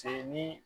Se nii